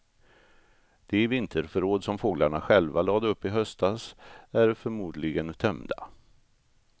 De vinterförråd som fåglarna själva lade upp i höstas är förmodligen tömda.